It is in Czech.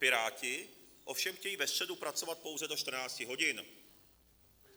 Piráti ovšem chtějí ve středu pracovat pouze do 14 hodin.